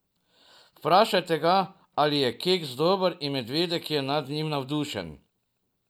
Vprašate ga, ali je keks dober in medvedek je nad njim navdušen.